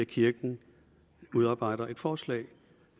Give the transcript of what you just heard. kirken udarbejder et forslag